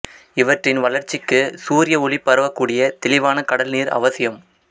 இவற்றின் வளர்ச்சிக்கு சூரிய ஒளி பரவக்கூடிய தெளிவான கடல் நீர் அவசியம்